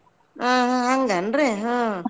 ಹ ಹಾ ಹಂಗನ್ರಿ ಹಾ.